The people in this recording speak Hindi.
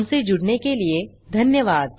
हमसे जुड़ने के लिए धन्यवाद